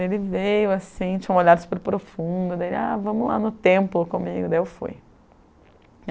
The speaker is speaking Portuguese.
Ele veio assim, tinham um olhar super profundo dele, ah, vamos lá no templo comigo, daí eu fui.